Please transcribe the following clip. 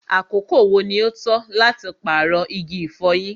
àkókò wo ní o tọ́ láti paarọ igi ifọ̀yín?